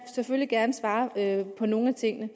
selvfølgelig gerne svare på nogle af tingene